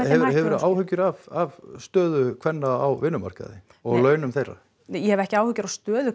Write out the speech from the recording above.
hefurðu áhyggjur af stöðu kvenna á vinnumarkaði og launum þeirra ég hef ekki áhyggjur af stöðu